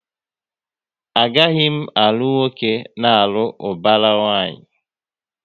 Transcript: A gaghị m alụ nwoke n'alu ubara nwanyi!